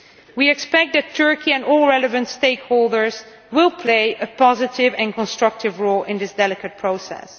We expect that Turkey and all relevant stakeholders will play a positive and constructive role in this delicate process.